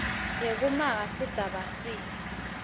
yekumaka sigaba c